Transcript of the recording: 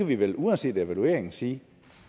vi vel uanset evalueringen sige